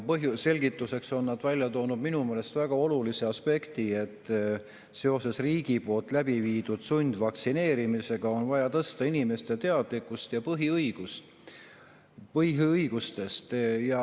Selgituseks on nad välja toonud minu meelest väga olulise aspekti, et seoses riigi läbiviidud sundvaktsineerimisega on vaja tõsta inimeste teadlikkust põhiõigustest.